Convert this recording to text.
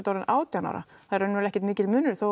orðin átján ára það er ekkert mikill munur þó